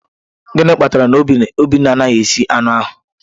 Gịnị kpatara na obinna anaghị esi anụ ahu?